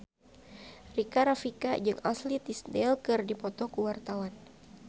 Rika Rafika jeung Ashley Tisdale keur dipoto ku wartawan